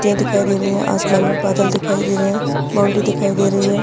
पत्तिया दिखाई दे रही है आसमान मे बादल दिखाई दे रहे है बॉउन्ड्री दिखाई दे रही है।